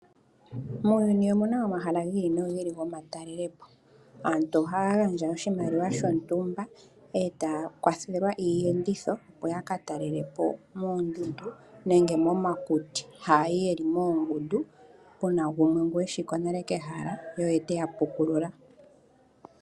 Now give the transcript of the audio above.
Muuyuni omuna omahala gi ili nogi ili gomatalelepo. Aantu ohaya gandja oshimaliwa shontumba, etaa kwathelwa iiyenditho opo ya ka talelepo moondundu nenge momakuti, haya yi yeli moongundu puna gumwe ngo e shi ko nale kehala ye oye teya pukulula.